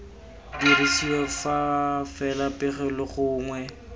dirisiwa fa fela pegelo gongwe